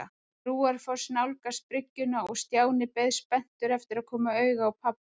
Brúarfoss nálgast bryggjuna og Stjáni beið spenntur eftir að koma auga á pabba.